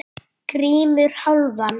GRÍMUR: Hálfan!